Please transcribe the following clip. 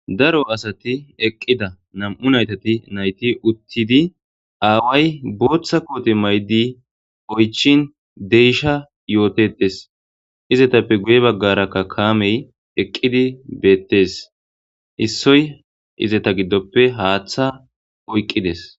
Daro asati eqida na'mu nayiti utidi awayi botha kote ma'idi oyichichshin de'esha izatapeka guye bagara kamey eqidi betes issoy izeta gidope hatha oyikides